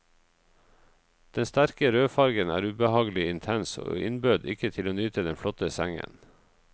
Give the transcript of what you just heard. Den sterke rødfarven er ubehagelig intens, og innbød ikke til å nyte den flotte sengen.